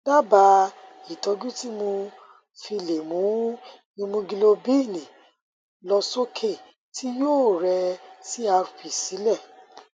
dábàá ìtọjú tí mo fi lè mu ìmúgilóbíìnì lọ sókè tí yóò sì rẹ crp sílẹ